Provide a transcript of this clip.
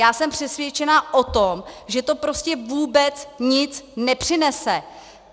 Já jsem přesvědčena o tom, že to prostě vůbec nic nepřinese.